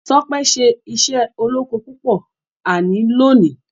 Tope ṣe iṣé olókó púpò àní lóni.